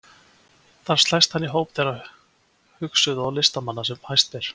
Þar slæst hann í hóp þeirra hugsuða og listamanna sem hæst ber.